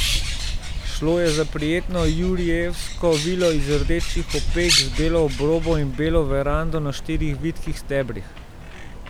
Šlo je za prijetno jurijevsko vilo iz rdečih opek z belo obrobo in belo verando na štirih vitkih stebrih.